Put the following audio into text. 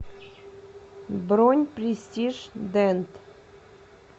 бронь престиж дент